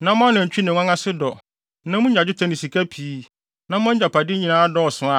na mo anantwi ne nguan ase dɔ, na munya dwetɛ ne sika pii, na mo agyapade nyinaa dɔɔso